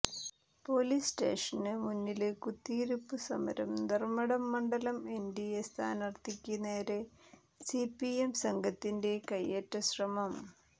police സ്റ്റേഷന് മുന്നില് കുത്തിയിരിപ്പ് സമരം ധര്മ്മടം മണ്ഡലം എന്ഡിഎ സ്ഥാനാര്ത്ഥിക്ക് നേരെ സിപിഎം സംഘത്തിന്റെ കയ്യേറ്റശ്രമം